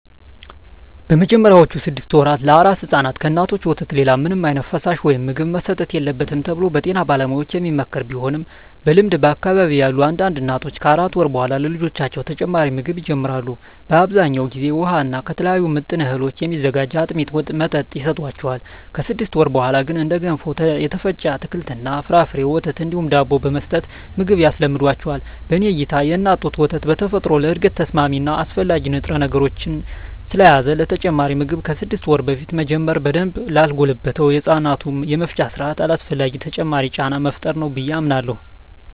በመጀመሪያዎቹ ስድስት ወራ ለአራስ ሕፃናት ከእናቶች ወተት ሌላ ምንም ዓይነት ፈሳሽ ወይም ምግብ መሰጠት የለበትም ተብሎ በጤና ባለሙያዎች የሚመከር ቢሆንም በልምድ በአካባቢየ ያሉ አንዳንድ እናቶች ከአራት ወር በኃላ ለልጆቻቸው ተጨማሪ ምግብ ይጀምራሉ። በአብዛኛው ጊዜ ውሃ እና ከተለያዩ ምጥን እህሎች የሚዘጋጅ የአጥሚት መጠጥ ይሰጣቸዋል። ከስድስት ወር በኀላ ግን እንደ ገንፎ፣ የተፈጨ አትክልት እና ፍራፍሬ፣ ወተት እንዲሁም ዳቦ በመስጠት ምግብ ያስለምዷቸዋል። በኔ እይታ የእናት ጡት ወተት በተፈጥሮ ለእድገት ተስማሚ እና አስፈላጊ ንጥረነገሮችን ስለያዘ ተጨማሪ ምግብ ከስድስት ወር በፊት መጀመር በደንብ ላልጎለበተው የህፃናቱ የመፍጫ ስርአት አላስፈላጊ ተጨማሪ ጫና መፍጠር ነው ብየ አምናለሁ።